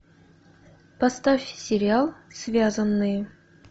поставь сериал связанные